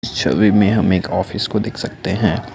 छवि में हम एक ऑफिस को देख सकते हैं।